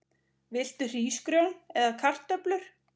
Viltu hrísgrjón eða kartöflur?